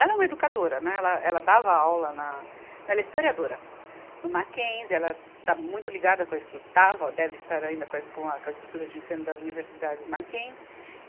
Ela é uma educadora, né, ela, ela dava aula na, ela é historiadora, no Mackenzie, ela está muito ligada com a estru, estava, deve estar ainda com a es, com a estrutura de ensino das universidades Mackenzie.